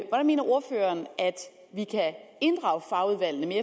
vi kan inddrage fagudvalgene